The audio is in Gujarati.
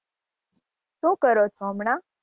શું કરો છો હમણાં?